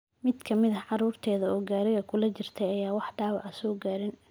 Mid ka mid ah caruurteeda oo gaariga kula jirtay ayaan wax dhaawac ah soo gaarin.